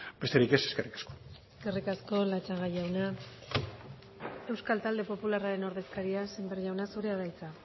besterik ez eskerrik asko eskerrik asko latxaga jauna euskal talde popularraren ordezkaria sémper jauna zurea da hitza